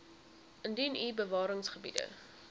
indien u bewaringsgebiede